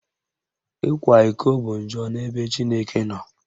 Ịkwa iko bụ njọ n'ebe Chineke nọ